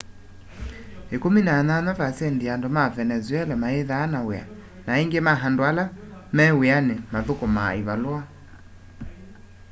18% ya andu ma venezuela mayithaa na wia na aingi ma andu ala me wiani muthukumaa ivalua